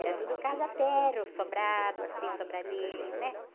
Era tudo casa térreo, sobrado, assim, sobradinho, né?